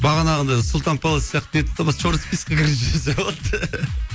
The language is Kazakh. бағанағыдай сұлтан паллас сияқты нетіп черный списокка кіргізіп жіберсе болады